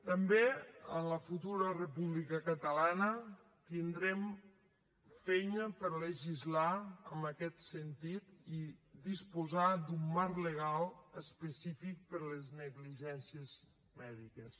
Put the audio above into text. també en la futura república catalana tindrem feina per a legislar en aquest sentit i disposar d’un marc legal específic per a les negligències mèdiques